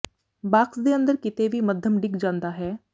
box ਦੇ ਅੰਦਰ ਕਿਤੇ ਵੀ ਮੱਧਮ ਡਿਗ ਜਾਂਦਾ ਹੈ